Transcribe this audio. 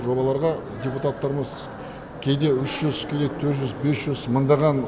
жобаларға депутаттарымыз кейде үш жүз кейде төрт жүз бес жүз мыңдаған